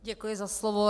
Děkuji za slovo.